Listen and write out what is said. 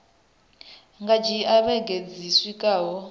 nga dzhia vhege dzi swikaho